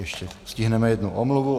Ještě stihneme jednu omluvu.